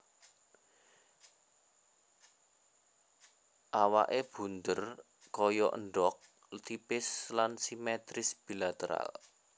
Awaké bundher kaya endhog tipis lan simetris bilateral